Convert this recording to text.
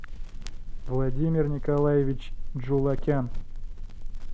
владимир николаевич джулакян